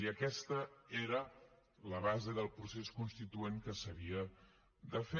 i aquesta era la base del procés constituent que s’havia de fer